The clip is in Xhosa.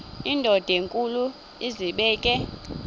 indod enkulu izibeke